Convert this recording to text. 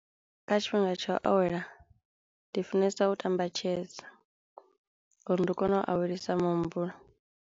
Kha tshifhinga tsha u awela ndi funesa u tamba chess uri ndi kono awelisa muhumbulo.